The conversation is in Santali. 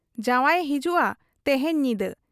ᱡᱟᱶᱟᱭᱮ ᱦᱤᱡᱩᱜ ᱟ ᱛᱮᱦᱮᱧ ᱧᱤᱫᱟᱹ ᱾